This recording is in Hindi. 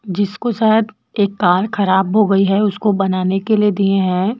जिसको शायद एक कार खराब हो गई है उसको बनाने के लिए दिए हैं।